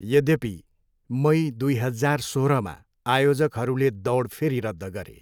यद्यपि, मई, दुई हजार सोह्रमा आयोजकहरूले दौड फेरि रद्द गरे।